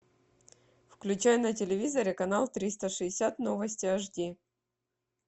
включай на телевизоре канал триста шестьдесят новости эйч ди